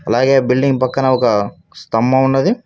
అలాగే బిల్డింగ్ పక్కన ఒక స్థంభం ఉన్నది.